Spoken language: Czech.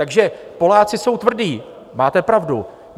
Takže Poláci jsou tvrdí, máte pravdu.